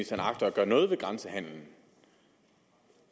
agter at gøre noget ved grænsehandelen